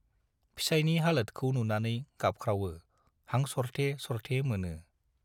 फिसाइनि हालोतखौ नुनानै गाबख्रावो, हां सरथे सरथे मोनो।